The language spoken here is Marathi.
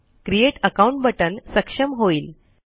क्रिएट अकाउंट बटन सक्षम होईल